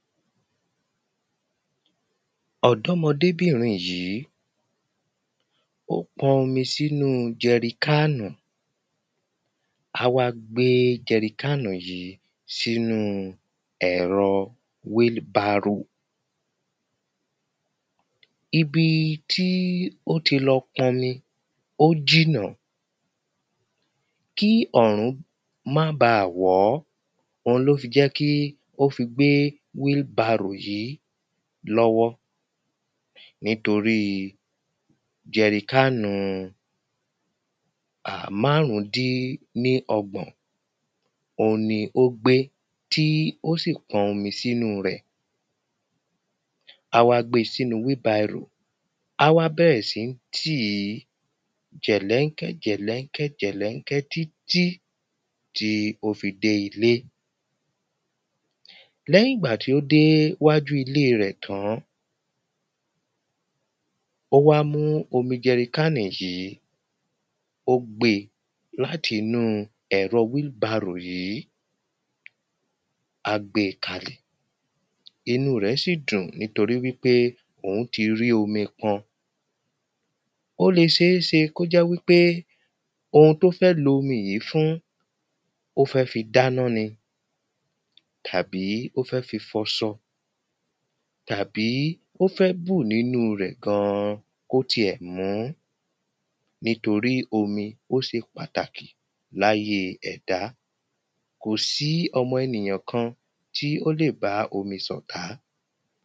ọ̀dọ́mọdébìnrin yí ó pọn omi sínú jeri kánù á wá gbé jeri kánù yí sínú ẹ̀rọ wheelbarrow ibi tí ó ti lọ pọnmi ó jìnà kí ọ̀rún má ba wọ́ òun ló fi jẹ́ kí ó fi gbé wheel barrow yí lọ́wọ́ nítoríi jeri kánù márún dín ní ọgbọ̀n òun ni ó gbé tí ó sì pọn omi sínú rẹ á wá gbe sínu wheelbarrow á wá bẹrẹ sí tíí jẹ̀lẹ́ńkẹ́ jẹ̀lẹ́ńkẹ́ jẹ̀lẹ́ńkẹ́ títí tí ó fi dé ilé lẹ́yìn gbà tó dé wájú ilé rẹ̀ tán ó wá mú omi jẹri kánì yí ó gbe láti nú ẹ̀rọ wheel barrow yí á gbé kalẹ̀ inú rẹ̀ sí dùn nítorí wípé òún rí omi pọn ó le ṣeéṣe kó jẹ́ wípé oun tó fẹ́ lo omi yí fún ó fẹ́ fi dáná ni tàbí ó fẹ́ fi foṣọ tàbí ó fẹ́ bù nínú rẹ̀ gan-an kó ti ẹ̀ mú nítorí omi ó ṣe pàtàkì láyé ẹ̀dá kò sí ọmọ ènìyàn kan tí ó lè bá omi sọ̀tá